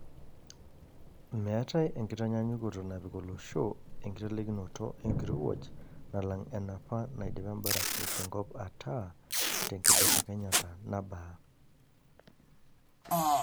Meetaeenkitanyaanyukoto napik olosho enkiteikinoto enkirowuaj nalang enapa naidipa embarafu tenkop ataa tenkibelekenyata nabaa.